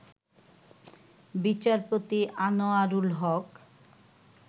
বিচারপতি আনোয়ারুল হক